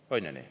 On ju nii?